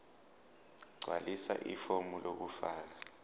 gqwalisa ifomu lokufaka